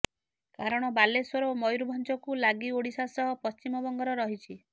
କାରଣ ବାଲେଶ୍ୱର ଓ ମୟୂରଭଞ୍ଜକୁ ଲାଗି ଓଡ଼ିଶା ସହ ପଶ୍ଚିମବଙ୍ଗର ରହିଛି